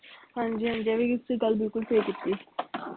ਹਾਂਜੀ ਹਾਂਜੀ ਇਹ ਵੀ ਇਸ ਗੱਲ ਬਿਲਕੁਲ ਸਹੀ ਕੀਤੀ